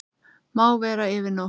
Má vera yfir nótt.